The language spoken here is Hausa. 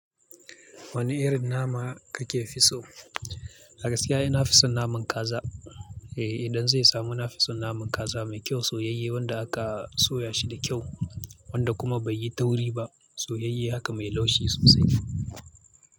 Wani irin nama kake fi so? A gaskiya ni na fi son naman kaza. Eh, idan zai samu na fi son naman kaza mai kyau soyayye wanda aka soya shi da kyau. Wanda kuma bai yi tauri ba soyayye haka mai laushi sosai.